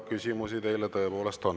Küsimusi teile tõepoolest on.